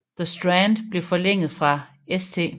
The Strand blev forlænget fra St